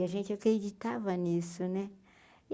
E a gente, acreditava nisso, né?